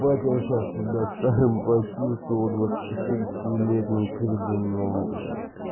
я сейчас себя старым почувствовал летним кирдуном блять